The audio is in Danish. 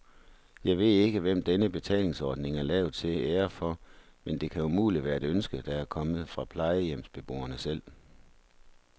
Jeg ved ikke, hvem denne betalingsordning er lavet til ære for, men det kan umuligt være et ønske, der er kommet fra plejehjemsbeboerne selv.